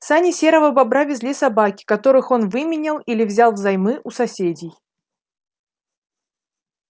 сани серого бобра везли собаки которых он выменял или взял взаймы у соседей